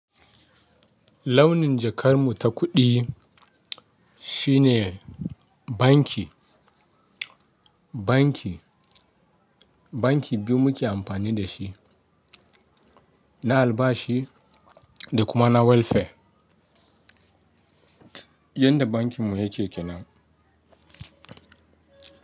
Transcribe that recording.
Launin jakar mu ta kuɗi shine banki, banki, banki biyu mu ke amfani da shi, na albashi da kuma na welfare. Yanda bankin mu yake kenan.